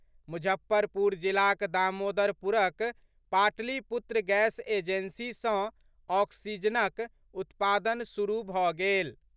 मुजफ्फरपुर जिलाक दामोदरपुरक Pataliputra gas agency सँ ऑक्सीजनक उत्पादन शुरू भऽ गेल।